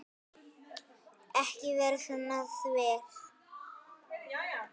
Ekki vera svona þver.